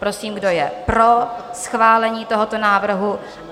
Prosím, kdo je pro schválení tohoto návrhu?